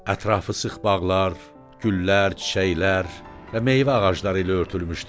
Ətrafı sıx bağlar, güllər, çiçəklər və meyvə ağacları ilə örtülmüşdür.